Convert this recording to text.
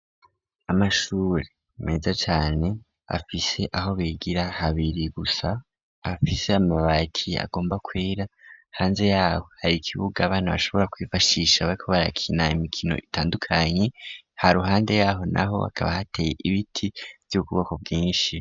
Amashure meza cane afise aho bigira habiri gusa afise amabakiye agomba kwera hanze yaho hari ikib ugabana bashobora kwifashisha beko barakinaya imikino itandukanyi ha ruhande yaho na ho hakaba hateye ibiti vy'ububoko bwinshi.